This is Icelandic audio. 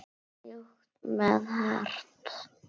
Mjúkt eða hart?